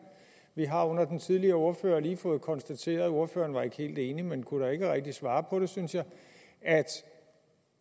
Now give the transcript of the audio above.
vi har under den tidligere ordfører lige fået konstateret ordfører var ikke helt enig men kunne da ikke rigtig kunne svare på det synes jeg at